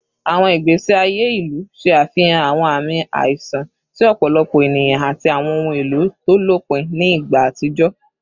Awọn igbesi aye ilu ṣe afihan awọn aami aiṣan ti ọpọlọpọ eniyan ati awọn ohun elo to lopin ni igba atijọ